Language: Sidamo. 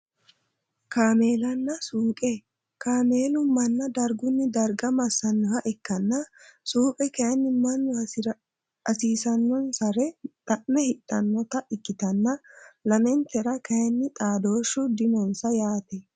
Kaamelanna suuqe kaamelu mana darguni darga masanoha ikke suuqe kayiini manu hasiisanosere xa`me hidhanota ikitana lamentera kayiini xaadoshu dinonsa yaate.